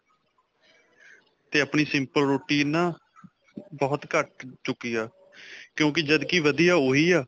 'ਤੇ ਆਪਣੀ simple ਰੋਟੀ ਨਾ, ਬਹੁਤ ਘੱਟ ਚੁੱਕੀ ਆ, ਕਿਉਂਕਿ ਜਦਕਿ ਵਧੀਆ ਓਹੀ ਆ.